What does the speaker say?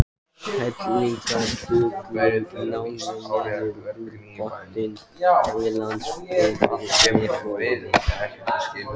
Heiladingullinn hangir niður úr botni heilans yfir nefholi.